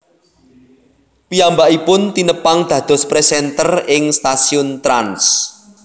Piyambakipun tinepang dados presenter ing stasiun Trans